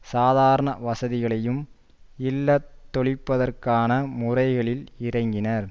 சாதாரண வசதிகளையும் இல்லாதொழிப்பதற்கான முறைகளில் இறங்கினர்